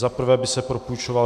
Za prvé by se propůjčoval